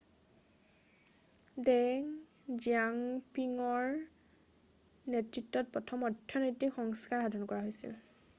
ডেং জিয়াঅ'পিঙৰ নেতৃত্বত প্ৰথম অৰ্থনৈতিক সংস্কাৰ সাধন হৈছিল